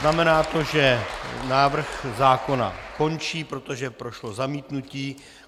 Znamená to, že návrh zákona končí, protože prošlo zamítnutí.